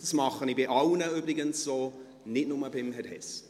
Dies tue ich übrigens bei allen, nicht nur bei Herrn Hess.